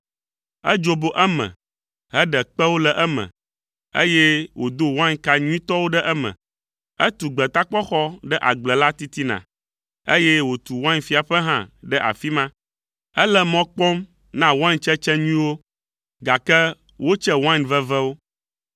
Edzobo eme heɖe kpewo le eme, eye wòdo wainka nyuitɔwo ɖe eme. Etu gbetakpɔxɔ ɖe agble la titina, eye wòtu wainfiaƒe hã ɖe afi ma. Ele mɔ kpɔm na waintsetse nyuiwo, gake wotse wain vevewo.